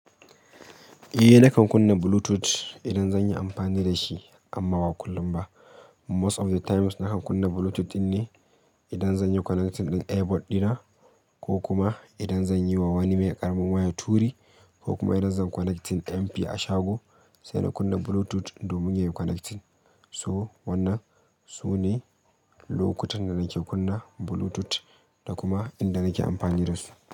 Eh nakan kunna Bluetooth idan zan yi amfani da shi amma ba kullum ba Most of the times nakan kunna Bluetooth ne idan zan yi connecting ɗin Airbod dina ko kuma idan zan yi wa wani mai ƙaramin waya turi ko kuma idan zan connecting MP a shago sai na kunna Bluetooth domin yayi connecting. So wannan sune lokutan da nake kunna Bluetooth da kuma inda nake amfani da su.